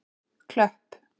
Klöpp